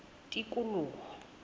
tikoloho